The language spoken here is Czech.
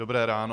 Dobré ráno.